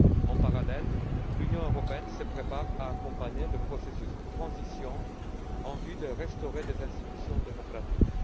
En parallèle, l'Union européenne se prépare à accompagner le processus de transition en vue de restaurer des institutions démocratiques.